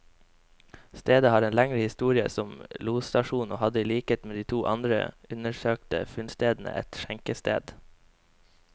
Stedet har en lengre historie som losstasjon, og hadde i likhet med de to andre undersøkte funnstedene, et skjenkested.